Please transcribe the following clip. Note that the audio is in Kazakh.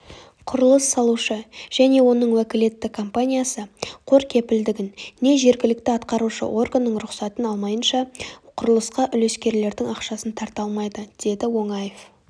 құрылыс салушы және оның уәкілетті компаниясы қор кепілдігін не жергілікті атқарушы органның рұқсатын алмайынша құрылысқа үлескерлердің ақшасын тарта алмайды деді оңаев